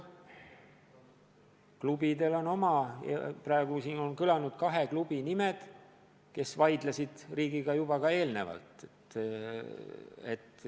Siin on kõlanud kahe klubi nimed, nemad vaidlesid riigiga juba enne ka.